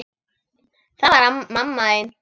Það var mamma þín.